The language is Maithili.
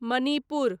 मणिपुर